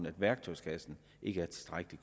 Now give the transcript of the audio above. at værktøjskassen ikke er tilstrækkelig